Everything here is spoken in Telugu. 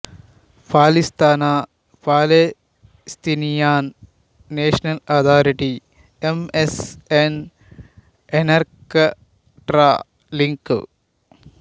Palestine Palestinian national authority M S N Encarta link